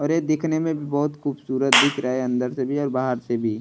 और ये दिखने में भी बहुत खूबसूरत दिख रहा है अंदर से भी और बाहर से भी।